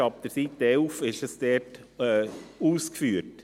Das ist ab Seite 11 ausgeführt.